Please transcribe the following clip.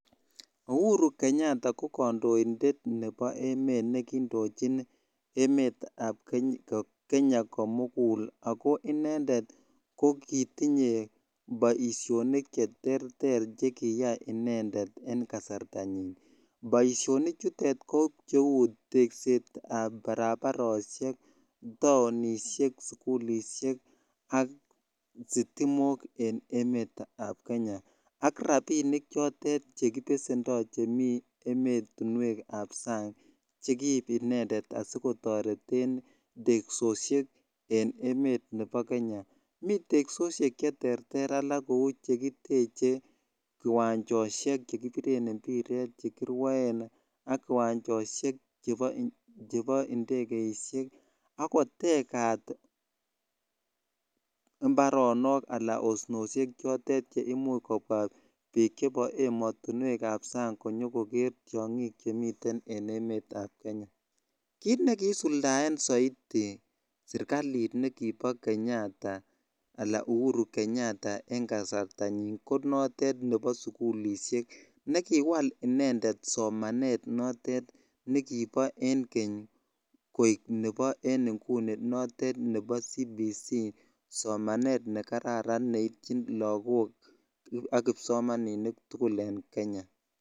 Uhuru Kenyatta ko ki kandoindet nebo emet nekindojin emet ab Kenya komugul ago inendet ko kitinye boisionik chekiterter chekiyoe inendet en kasartanyin boisionik chutet ko cheu tekset ab barabaraisiek taonisiek sugulisiek ak stimok en emet ab Kenya ak rapinik chotet chekipesendo chemiten ematunwek kap sang chekiib inendet asigotoreten teksosiek en emet ab Kenya miten teksosiek cheterter alak kou chekiteche kiwanjosiek chekipiren mpiret chekirwoen ak kiwanjosiek chebo indekeisiek agotegat mbaronok anan osnosiek chotet cheimuch biik chebo emet ab sang konyokoger tiongik chemiten en emet ab Kenya kiit ne kiisuldaen soiti sirkalitab Kenyatta anan Uhuru Kenyatta en kasartanyin ko notet nebo sugulisiek nekiwal inendet somanet nekibo keny koek nebo inguni notet nebo cbc somanet nekararan neibchin lakok ak kipsomaninik tugul en Kenya